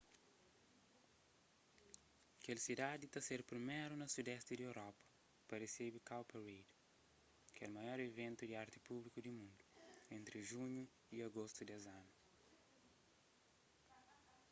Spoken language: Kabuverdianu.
kel sidadi ta ser priméru na sudesti di europa pa resebe cowparade kel maior iventu di arti públiku di mundu entri junhu y agostu des anu